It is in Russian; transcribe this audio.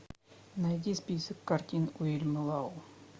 найди список картин уильяма лау